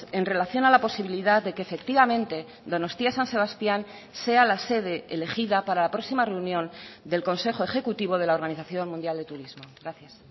en relación a la posibilidad de que efectivamente donostia san sebastián sea la sede elegida para la próxima reunión del consejo ejecutivo de la organización mundial de turismo gracias